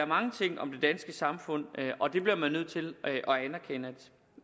mange ting om det danske samfund og det bliver man nødt til